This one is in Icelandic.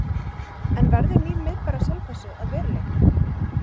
En verður nýr miðbær á Selfossi að veruleika?